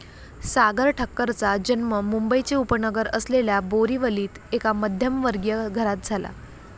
सागर ठक्करचा जन्म मुंबईचे उपनगर असलेल्या बोरिवलीत एका मध्यमवर्गीय घरात झाला.